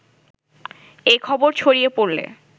এ খবর ছড়িয়ে পড়লে